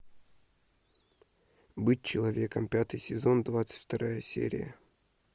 быть человеком пятый сезон двадцать вторая серия